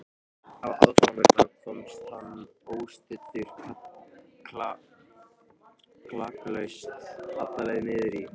Á aðfangadag komst hann óstuddur klakklaust alla leið niður í